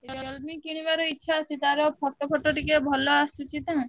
Realme କିଣିବାର ଭାରି ଇଛା ତାର photo photo ଟ ଟିକେ ଭଲ ଆସୁଛି ତ।